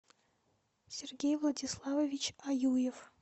сергей владиславович аюев